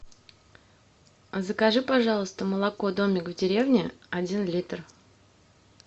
закажи пожалуйста молоко домик в деревне один литр